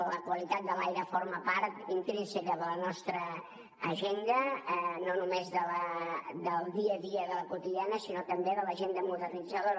la qualitat de l’aire forma part intrínseca de la nostra agenda no només del dia a dia de l’agenda quotidiana sinó també de l’agenda modernitzadora